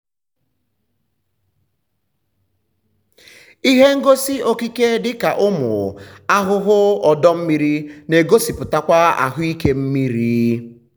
ihe ngosi okike dịka ụmụ ahụhụ ọdọ mmiri na-egosipụtakwa ahụike mmiri.